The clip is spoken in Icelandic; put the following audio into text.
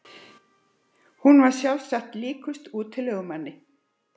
Hún var sjálfsagt líkust útilegumanni.